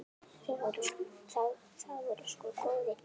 Það voru sko góðir tímar.